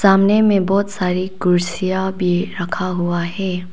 सामने में बहोत सारी कुर्सियां भी रखा हुआ है।